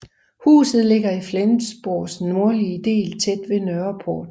Huset ligger i Flensborgs nordlige del tæt ved Nørreport